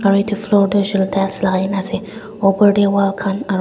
aro edu floor tu hoishey koilae tu tiles lakai na ase opor tae wall khan aro--